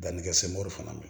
Dannikɛ semoro fana